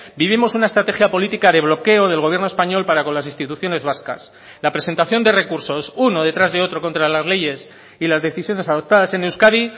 vivimos una estrategia política de bloqueo del gobierno español para con las instituciones vascas la presentación de recursos uno detrás de otro contra las leyes y las decisiones adoptadas en euskadi